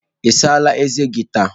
Ị asachala ezé gị taa?